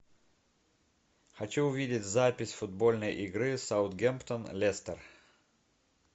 хочу увидеть запись футбольной игры саутгемптон лестер